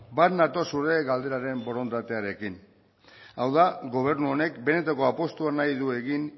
bat nator zure galderaren borondatearekin hau da gobernu honek benetako apustua nahi du egin